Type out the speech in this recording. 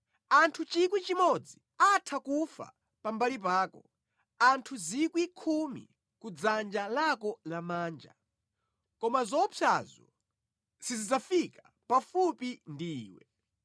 Anthu 1,000 atha kufa pambali pako, anthu 10,000 kudzanja lako lamanja, koma zoopsazo sizidzafika pafupi ndi iwe.